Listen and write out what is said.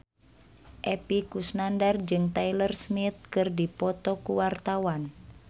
Epy Kusnandar jeung Taylor Swift keur dipoto ku wartawan